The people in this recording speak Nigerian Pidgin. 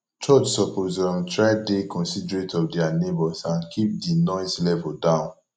church suppose um try dey considerate of dia neigbhors and keep di noise level down